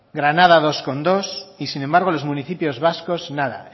granada dos coma dos y sin embargo los municipios vascos nada